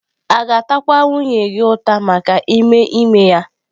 A ga-atakwa nwunye gị ụta maka ime ime ya?